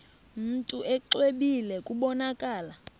mntu exwebile kubonakala